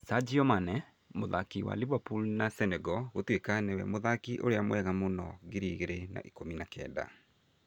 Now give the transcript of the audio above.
Sadio Mane: mũthaki wa Liverpool na Senegal gũtuĩka nĩwe mũthaki ũrĩa mwega mũno ngiri igĩrĩ na ikũmi na kenda